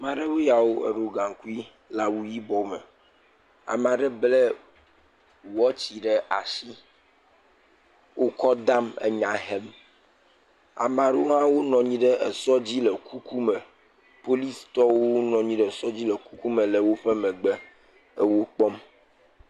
Ame aɖewo yawo. Eɖo gaŋkui le awuyibɔ me. Ame aɖe ble wɔtsi ɖe asi. Wo kɔ dam enya hem. Ame aɖewo hã wonɔ anyi ɖe esɔ dzi le kuku me. Policitɔwo nɔ anyi ɖe esɔ dzi le wo megbe le wo kpɔm.